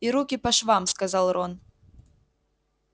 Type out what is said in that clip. и руки по швам сказал рон